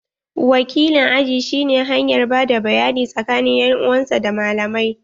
Wakilin aji shi ne hanyar bada bayani tsakanin en uwan sa da malamai.